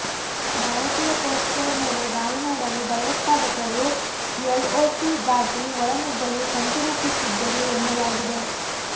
ಭಾರತೀಯ ಪೋಸ್ಟ್ಗಳ ಮೇಲೆ ದಾಳಿ ಮಾಡಲು ಭಯೋತ್ಪಾದಕರು ಎಲ್ಒಸಿ ದಾಟಿ ಒಳನುಗ್ಗಲು ಸಂಚು ರೂಪಿಸಿದ್ದರು ಎನ್ನಲಾಗಿದೆ